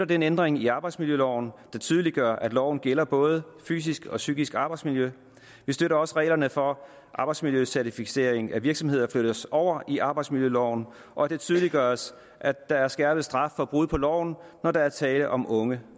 den ændring i arbejdsmiljøloven der tydeliggør at loven gælder for både fysisk og psykisk arbejdsmiljø vi støtter også at reglerne for arbejdsmiljøcertificering af virksomheder flyttes over i arbejdsmiljøloven og at det tydeliggøres at der er skærpet straf for brud på loven når der er tale om unge